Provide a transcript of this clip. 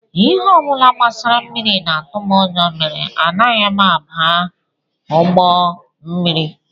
Ihe ọ bụla gbasara mmiri na-atụ m ụjọ mere anaghị m aba ụgbọ mmiri